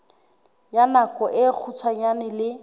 ya nako e kgutshwane le